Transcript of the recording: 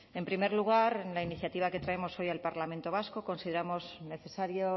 en primer lugar en la iniciativa que traemos hoy al parlamento vasco consideramos necesario